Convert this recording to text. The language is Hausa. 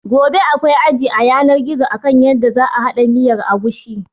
Gobe akwai aji a yanar gizo akan yadda za a haɗa miyar agushi.